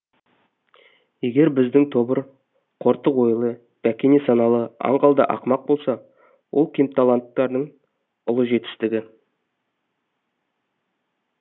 егер біздің тобыр қортық ойлы бәкене саналы аңғал да ақымақ болса ол кемталанттардың ұлы жетістігі